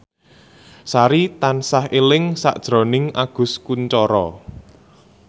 Sari tansah eling sakjroning Agus Kuncoro